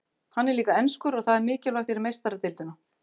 Hann er líka enskur og það er mikilvægt fyrir Meistaradeildina.